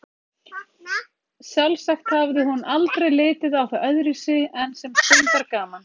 Sjálfsagt hafði hún aldrei litið á það öðruvísi en sem stundargaman.